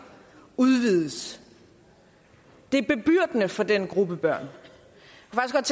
udvides det er bebyrdende for den gruppe børn